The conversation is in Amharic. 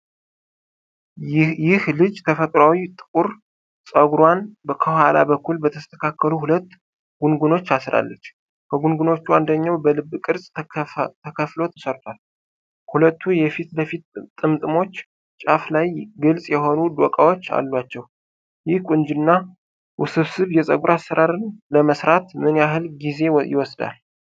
ይህ ልጅ ተፈጥሯዊ ጥቁር ፀጉሯን ከኋላ በኩል በተስተካከሉ ሁለት ጉንጉኖች አስራለች። ከጉንጉኖቹ አንደኛው በልብ ቅርጽ ተከፍሎ ተሰርቷል፤ ሁለቱ የፊት ለፊት ጥምጥሞች ጫፍ ላይ ግልጽ የሆኑ ዶቃዎች አሏቸው። ይህ ቆንጆና ውስብስብ የፀጉር አሠራር ለመስራት ምን ያህል ጊዜ ወስዷል?